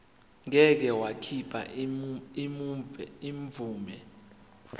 ngeke wakhipha imvume